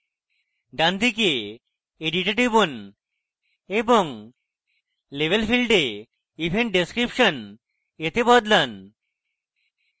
ডানদিকে edit এ টিপুন এবং label কে event description এ বদলান